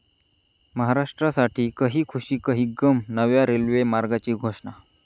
महाराष्ट्रासाठी 'कही खुशी कही गम',नव्या रेल्वे मार्गाची घोषणा